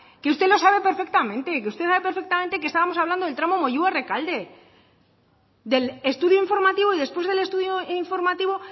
que usted lo sabe perfectamente que usted sabe perfectamente que estábamos hablando del tramo moyua rekalde del estudio informativo y después del estudio informativo